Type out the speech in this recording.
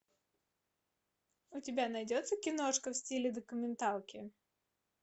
у тебя найдется киношка в стиле документалки